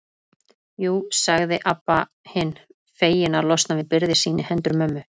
Jú, sagði Abba hin, fegin að losna við byrði sína í hendur mömmu.